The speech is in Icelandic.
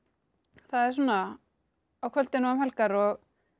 það er svona á kvöldin og um helgar og